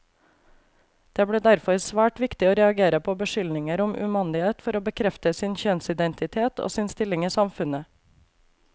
Det ble derfor svært viktig å reagere på beskyldninger om umandighet for å bekrefte sin kjønnsidentitet, og sin stilling i samfunnet.